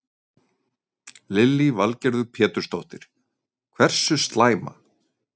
Lillý Valgerður Pétursdóttir: Hversu slæma?